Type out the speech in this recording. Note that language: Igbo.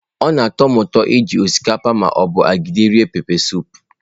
Ọ na-atọ m ụtọ iji osikapa ma ọ bụ agidi rie pepesụpụ.